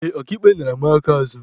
Ee, Ọka ikpe nara mụ aka azụ.